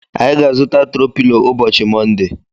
Anyị ga-azuta tro pilo ụbọchị Monde.